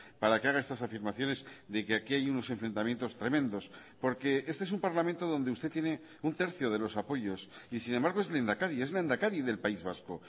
para que haga estas afirmaciones de que aquí hay unos enfrentamientos tremendos porque este es un parlamento donde usted tiene un tercio de los apoyos y sin embargo es lehendakari es lehendakari del país vasco